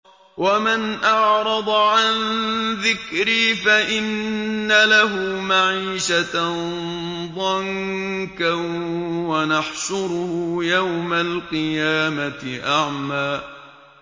وَمَنْ أَعْرَضَ عَن ذِكْرِي فَإِنَّ لَهُ مَعِيشَةً ضَنكًا وَنَحْشُرُهُ يَوْمَ الْقِيَامَةِ أَعْمَىٰ